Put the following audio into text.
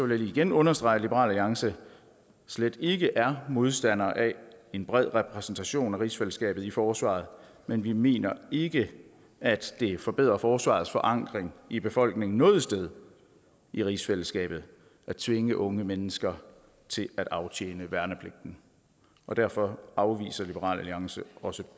lige igen understrege at liberal alliance slet ikke er modstander af en bred repræsentation af rigsfællesskabet i forsvaret men vi mener ikke at det forbedrer forsvarets forankring i befolkningen noget sted i rigsfællesskabet at tvinge unge mennesker til at aftjene værnepligten og derfor afviser liberal alliance også